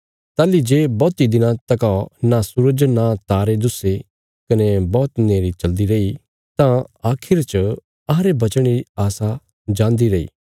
ताहली जे बौहती दिनां तका नां सूरज नां तारे दुस्से कने बौहत नेहरी चलदी रई तां आखरी च अहांरे बचणे री आशा जान्दी रैई